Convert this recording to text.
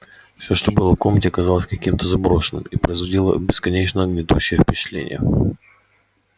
всё что было в комнате казалось каким-то заброшенным и производило бесконечно гнетущее впечатление